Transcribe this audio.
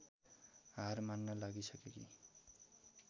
हार मान्न लागिसकेकी